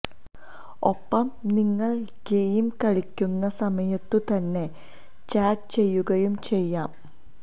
ഒപ്പം നിങ്ങള് ഗെയിം കളിക്കുന്ന സമയത്തു തന്നെ ചാറ്റ് ചെയ്യുകയും ചെയ്യാം